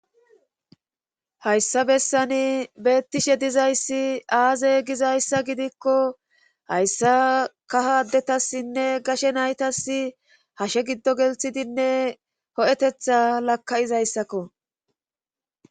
hayssa bessani beettishe dizayssi aaze gizayssa gidikko hayssa kahadetassinne gashe naytas hashe giddo gelthidinne ho7etetha lakka7izayssakko